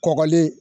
Kɔgɔlen